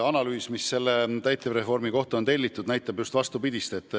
Analüüs, mis täitemenetluse reformi kohta on tellitud, näitab kindla peale just vastupidist.